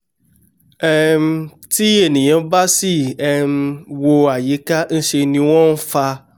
um tí ènìà bá sì um wo àyíká ńṣẹ ni wọ́n fá